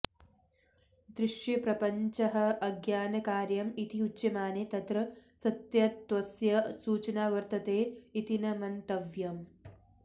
दृश्यप्रपञ्चः अज्ञानकार्यम् इति उच्यमाने तत्र सत्यत्वस्य सूचना वर्तते इति न मन्त्वयम्